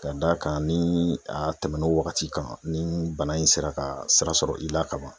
Ka d'a kan ni a tɛmɛn'o wagati kan ni bana in sera ka sira sɔrɔ i la ka ban